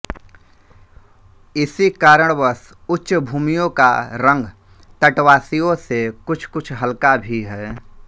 इसी कारणवश उच्चभूमियों का रंग तटवासियों से कुछकुछ हलका भी है